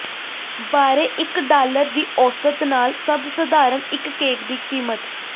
ਬਾਰੇ ਇੱਕ ਡਾਲਰ ਦੀ ਔਸਤ ਨਾਲ ਸਭ ਸਧਾਰਨ ਇੱਕ ਕੇਕ ਦੀ ਕੀਮਤ